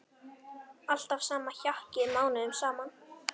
Alltaf sama hjakkið mánuðum saman!